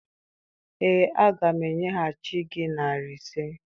Ee, aga m enyeghachi gị narị ise.